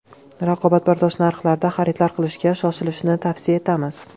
Raqobatbardosh narxlarda xaridlar qilishga shoshilishni tavsiya etamiz.